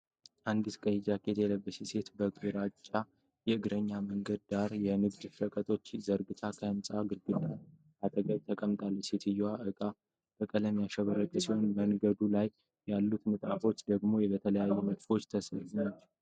አንዲት ቀይ ጃኬት የለበሰች ሴት በግራጫ የእግረኛ መንገድ ዳር የንግድ ሸቀጦችን ዘርግታ ከህንጻ ግድግዳ አጠገብ ተቀምጣለች። የሴትየዋ እቃዎች በቀለማት ያሸበረቁ ሲሆኑ፣ በመንገዱ ላይ ያሉት ንጣፎች ደግሞ በተለያዩ ንድፎች የተሰሩ ናቸው።